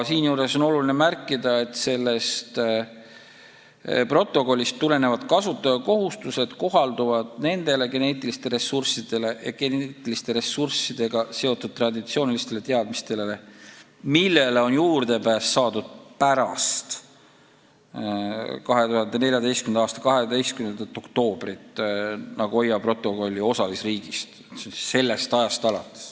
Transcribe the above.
Siinjuures on oluline märkida, et sellest protokollist tulenevad kasutaja kohustused kohalduvad nendele geneetiliste ressurssidega seotud traditsioonilistele teadmistele, millele on juurdepääs saadud pärast 2014. aasta 12. oktoobrit Nagoya protokolli osalisriigist.